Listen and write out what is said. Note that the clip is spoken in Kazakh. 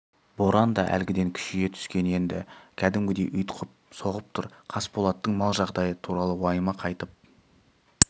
боран да әлгіден күшейе түскен енді кәдімгідей ұйтқып соғып тұр қасболаттың мал жағдайы туралы уайымы қайтып